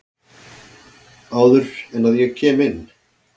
Áður en að ég kem inn.